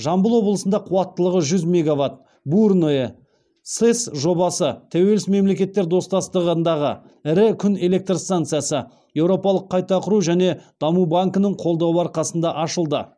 жамбыл облысында қуаттылығы жүз меговат бурное сэс жобасы тәуелсіз мемлекеттер достастығындағы ірі күн электр станциясы еуропалық қайта құру және даму банкінің қолдауы арқасында ашылды